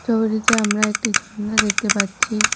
আমরা একটি ঝর্ণা দেখতে পাচ্ছি।